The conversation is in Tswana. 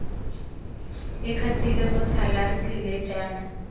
ikgatile motlhala re tlile jaana